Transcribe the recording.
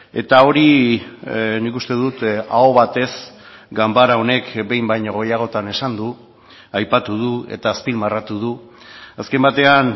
eta hori nik uste dut aho batez ganbara honek behin baino gehiagotan esan du aipatu du eta azpimarratu du azken batean